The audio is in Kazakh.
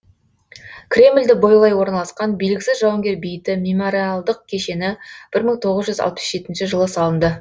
кремльді бойлай орналасқан белгісіз жауынгер бейіті мемориалдық кешені бір мың тоғыз жүз алпыс жетінші жылы салынды